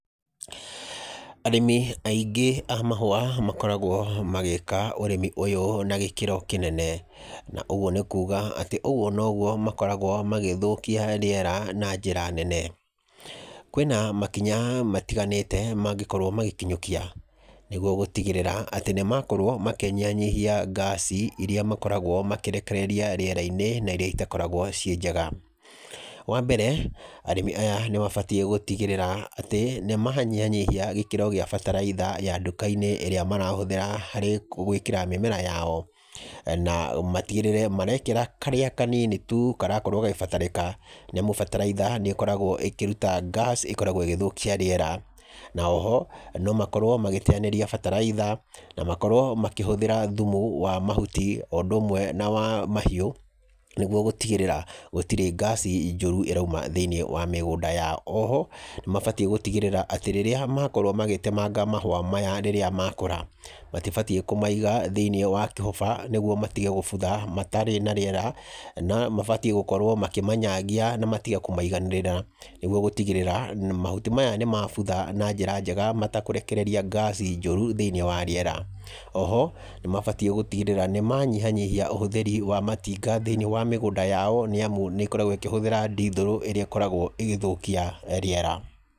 Arĩmi aingi a mahũa makoragwo magĩka ũrĩmi ũyũ na gĩkĩro kĩnene. Na ũguo nĩ kuuga atĩ ũguo noguo makoragwo magĩthũkia rĩera na njĩra nene. Kwĩna makinya matiganĩte mangĩkorwo magĩkinyũkia nĩguo gũtigĩrĩra atĩ nĩ makorwo manyihanyihia ngaci irĩa makoragwo makĩrekereria rĩera-inĩ na irĩa itakoragwo ci njega. Wa mbere, arĩmi aya nĩ mabatiĩ gũtigĩrĩra atĩ nĩ manyihanyihia gĩkĩro gĩa bataraitha ya nduka-inĩ ĩrĩa marahũthĩra harĩ gwĩkĩra mĩmera yao. Na matigĩrĩre marekĩra karĩa kanini tu karakorwo gakĩbatĩrĩka, nĩ amu bataraitha nĩ ĩkoragwo ĩkĩruta ngaci ĩkoragwo ĩgĩthũkia rĩera. Na oho no makorwo magĩteanĩria bataraitha na makorwo makĩhũthĩra thumu wa mahuti, o ũndũ ũmwe na wa mahiũ nĩguo gũtigĩrĩra gũtirĩ ngaci njũru ĩroima thĩiniĩ wa mĩgũnda yao. Oho nĩ mabatiĩ gũtigĩrĩra atĩ rĩrĩa makorwo magĩtemanga mahũa maya rĩrĩa makũra, matibatiĩ kũmaiga thĩiniĩ kĩhũba, nĩguo matige kũbutha matarĩ na rĩera. No mabatiĩ gũkorwo makĩmanyagia na matige kũmaiganĩrĩra, nĩguo gũtigĩrĩra mahuti maya nĩ mabutha na njĩra njega matakũrekereria ngaci njũru thĩiniĩ wa rĩera. Oho nĩ mabatiĩ gũtigĩrĩra nĩ manyihanyihia ũhũthĩri wa matinga thĩiniĩ wa mĩgũnda yao, nĩ amu nĩ ĩkoragwo ĩkĩhũthĩra ndithũrũ ĩrĩa ĩkoragwo ĩgĩthũkia rĩera.